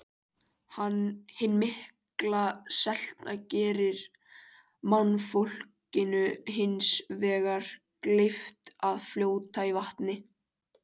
Hin mikla selta gerir mannfólkinu hins vegar kleyft að fljóta í vatninu.